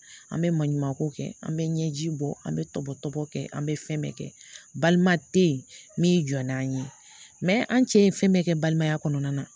An bɛ maɲumanko kɛ an bɛ ɲɛji bɔ an bɛ to bɔtɔbɔ kɛ an bɛ fɛn bɛɛ kɛ balima te yen min jɔ n'an ye an cɛ ye fɛn bɛɛ kɛ balimaya kɔnɔna na